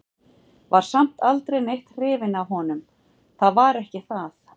Var samt aldrei neitt hrifin af honum, það var ekki það.